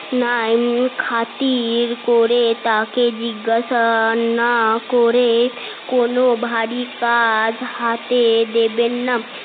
খাতির করে তাকে জিজ্ঞেশা না করে কোন ভারি কাজ হাতে দেবেন না